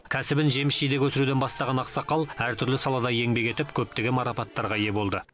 кәсібін жеміс жидек өсіруден бастаған ақсақал әртүрлі салада еңбек етіп көптеген марапаттарға ие болды